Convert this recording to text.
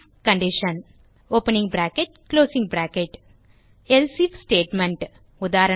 else if statement உதாரணமாக